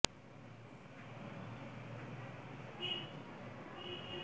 ব্রাহ্মণবাড়িয়ার আশুগঞ্জের আড়াইসিধা ইউনিয়নে আওয়ামী লীগ মনোনীত প্রার্থী মো